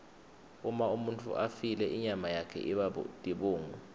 uma umuntfu afile inyama yakhe iba tibungu